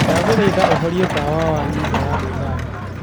ndaguthaitha uhorie tawa wa nyumba ya gwĩthamba